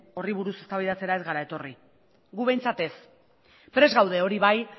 horri buruz eztabaidatzera ez gara etorri gu behintzat ez prest gaude hori bai